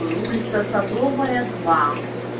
улица садовая два